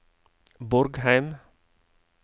Borgheim